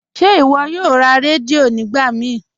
Ṣe iwọ yòò rá rẹdíò nígbà mí?